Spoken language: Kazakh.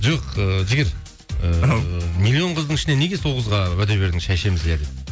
жоқ ыыы жігер ау миллион қыздың ішінен неге сол қызға уәде бердің шай ішеміз иә деп